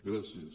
gràcies